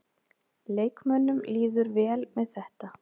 Leikmönnunum líður vel með þetta.